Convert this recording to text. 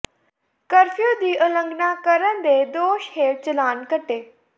curfew ਦੀ ਉਲੰਘਣਾ ਕਰਨ ਦੇ ਦੋਸ਼ ਹੇਠ ਚਲਾਨ ਕੱਟੇ